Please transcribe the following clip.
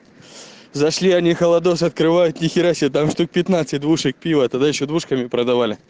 зашли они холодос открывают нихера себе там штук пятнадцать двушек пива тогда ещё двушками продавали